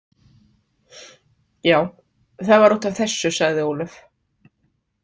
Já, það var út af þessu, sagði Ólöf.